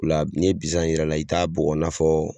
la n'i ye bisan yir'a la i t'a bugɔ i n'a fɔ